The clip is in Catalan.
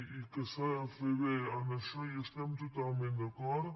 i que s’ha de fer bé en això hi estem totalment d’acord